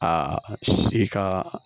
Aa i ka